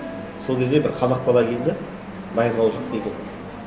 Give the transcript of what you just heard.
сол кезде бір қазақ бала келді баянауыл жақтықы екен